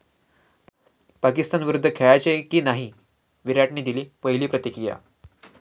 पाकिस्तानविरुद्ध खेळायचे की नाही? विराटने दिली पहिली प्रतिक्रिया